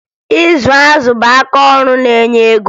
Ịzụ azụ bụ akaọrụ na-enye ego